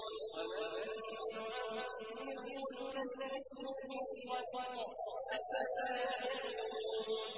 وَمَن نُّعَمِّرْهُ نُنَكِّسْهُ فِي الْخَلْقِ ۖ أَفَلَا يَعْقِلُونَ